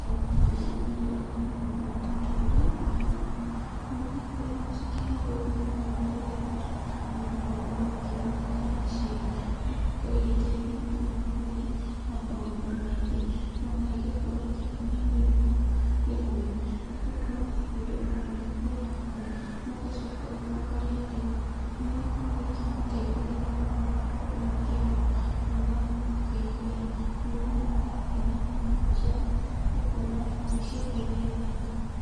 Thĩinĩ wa mbica ĩno ndĩrona mũthemba wa matunda ma ndimũ. Ndimũ nĩikoragwo cikĩhandwo thĩiniĩ wa rũrĩrĩ ruitũ, arĩmi nĩmakoragwo makĩgunĩka naciio, ndimũ nĩikoragwo igĩtaithia thĩiniĩ wa mwĩrĩ, na maũndũ maingĩ, ona igakorwo ikĩhonia mĩrimũ ĩmwe, nĩgũkorwo andũ ona marĩkũrwara homa, magacoka makarĩa ndimũ, ndimũ nĩikoragwo ikĩmataithĩrĩria mũno magakorwo makĩhona, na magakorwo makĩigua wega. Maũndũ marĩa marangenia thĩiniĩ wa mbica ĩno, nĩkuona ndimũ ici ũrĩa irĩthaka.